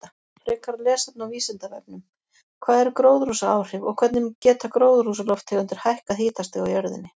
Frekara lesefni á Vísindavefnum: Hvað eru gróðurhúsaáhrif og hvernig geta gróðurhúsalofttegundir hækkað hitastig á jörðinni?